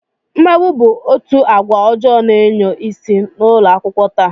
Mmegbu bụ otu agwa ọjọọ na-enyo isi n'ụlọakwụkwọ taa